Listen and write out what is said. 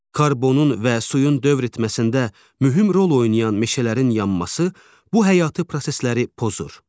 Karbonun və suyun dövr etməsində mühüm rol oynayan meşələrin yanması bu həyati prosesləri pozur.